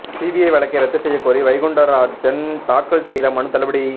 CBI வழக்கை ரத்து செய்ய கோரி வைகுண்டராஜன் தாக்கல் செய்த மனு தள்ளுபடி